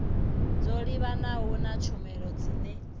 dzo livhanaho na tshumelo dzine